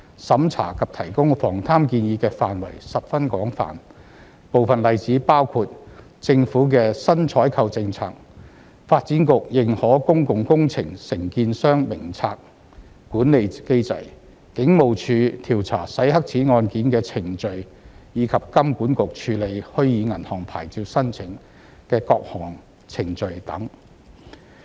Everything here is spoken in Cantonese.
審查及提供防貪建議的範圍十分廣泛，部分例子包括：政府的新採購政策、發展局《認可公共工程承建商名冊》管理機制、警務處調查洗黑錢案件的程序，以及金管局處理虛擬銀行牌照申請的各項程序等。